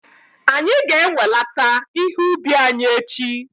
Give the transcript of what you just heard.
Anyị ga-enwelata ihe ubi anyị echi